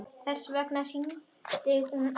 Þess vegna hringdi hún aftur.